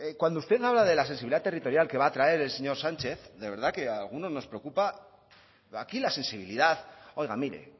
cuando usted habla de la sensibilidad territorial que va a traer el señor sánchez de verdad que a algunos nos preocupa aquí la sensibilidad oiga mire